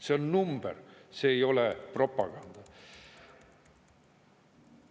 See on number, see ei ole propaganda.